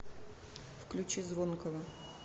включи звонкого